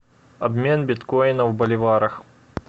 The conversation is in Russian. обмен биткоина в боливарах